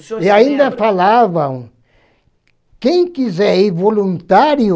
o senhor se lembra? E ainda falavam, quem quiser ir voluntário,